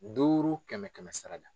Duuru kɛmɛ kɛmɛ sara da.